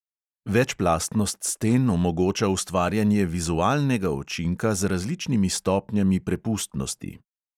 Večplastnost sten omogoča ustvarjanje vizualnega učinka z različnimi stopnjami prepustnosti.